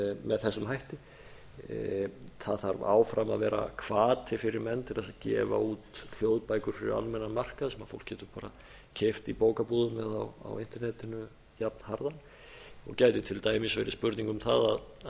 með þessum hætti það þarf áfram að vera hvati fyrir menn til að gefa út hljóðbækur fyrir almennan markað sem fólk getur bara keypt í bókabúðum eða á internetinu jafnharðan og gæti til dæmis verið spurning um að